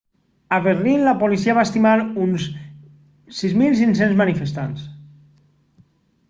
a berlín la policia va estimar uns 6.500 manifestants